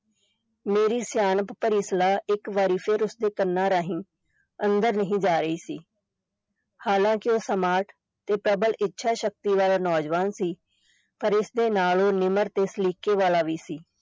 ਮੇਰੀ ਸਿਆਣਪ ਭਰੀ ਸਲਾਹ ਇਕ ਵਾਰੀ ਫਿਰ ਉਸਦੇ ਕੰਨਾਂ ਰਾਹੀਂ ਅੰਦਰ ਨਹੀਂ ਜਾ ਰਹੀ ਸੀ ਹਾਲਾਂਕਿ ਉਹ smart ਤੇ ਪ੍ਰਬਲ ਇੱਛਾ ਸ਼ਕਤੀ ਵਾਲਾ ਨੌਜਵਾਨ ਸੀ, ਪਰ ਇਸ ਦੇ ਨਾਲ ਉਹ ਨਿਮਰ ਤੇ ਸਲੀਕੇ ਵਾਲਾ ਵੀ ਸੀ।